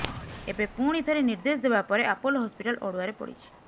ଏବେ ପୁଣି ଥରେ ନିର୍ଦ୍ଦେଶ ଦେବା ପରେ ଆପୋଲୋ ହସ୍ପିଟାଲ୍ ଅଡୁଆରେ ପଡିଛି